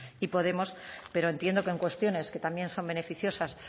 y podemos pero entiendo que en cuestiones que también son beneficiosas